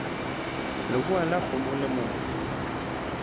lebowa la kgomo le motho